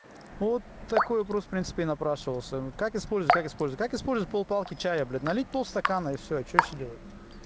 вот такой вопрос принципе и напрашивался как использовать как использовать как использовать пол палки чая блять налить пол стакана и всё что ещё делать